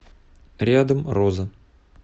рядом роза